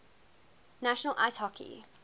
national ice hockey